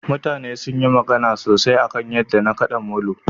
mutane sunyi magana sosai akan yadda na kada molo